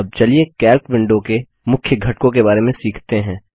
अब चलिए Calc window के मुख्य घटकों के बारे में सीखते हैं